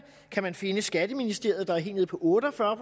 kan man finde skatteministeriet der er helt nede på otte og fyrre